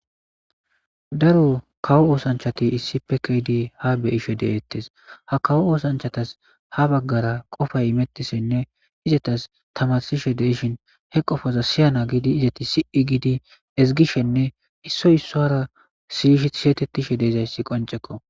Daro kawo oosanchati issippe kei'di ha bei'she detes ha kawo oosanchatas ha bagara qofay imetishenne izatas tamarsishe detes he qofazaka siyana gidi izanti siyana gidi sii'dinne gishin ezgishenne issoy issuwara siyetetishe dezaysi qoncekko